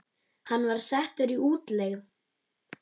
Hann var settur í útlegð.